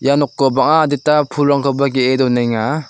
ia noko bang·a adita pulrangkoba ge·e donenga.